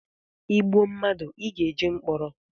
Ị gbụọ madụ ị ga-eje mkpọrọ